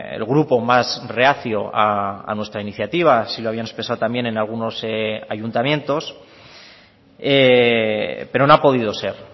el grupo más reacio a nuestra iniciativa así lo habían expresado también en algunos ayuntamientos pero no ha podido ser